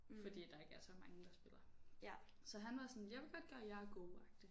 Fordi der ikke er så mange der spiller. Så han var sådan jeg vil godt gøre jer gode agtigt